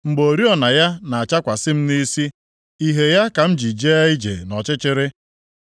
mgbe oriọna ya na-achakwasị m nʼisi ìhè ya ka m ji jee ije nʼọchịchịrị.